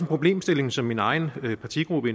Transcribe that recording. problemstilling som min egen partigruppe